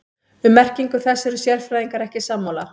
Um merkingu þess eru sérfræðingar ekki sammála.